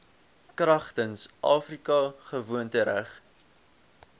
kragtens afrika gewoontereg